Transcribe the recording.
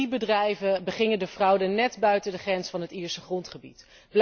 Drie bedrijven begingen de fraude net buiten de grens van het Ierse grondgebied.